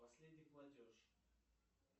последний платеж